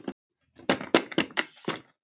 Þau eiga soninn Gísla Berg.